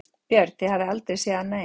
Björn: Þið hafið aldrei séð annað eins?